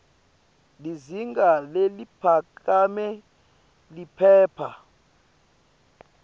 lizinga leliphakeme liphepha